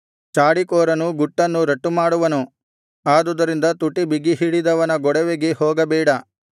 ಚಾಡಿಕೋರನು ಗುಟ್ಟನ್ನು ರಟ್ಟು ಮಾಡುವನು ಆದುದರಿಂದ ತುಟಿ ಬಿಗಿಹಿಡಿಯದವನ ಗೊಡವೆಗೆ ಹೋಗಬೇಡ